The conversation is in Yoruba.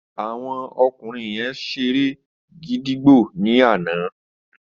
Àwọn ọkùnrin yen seré gídígbò ní àná